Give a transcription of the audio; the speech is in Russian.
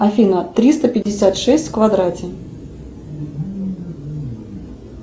афина триста пятьдесят шесть в квадрате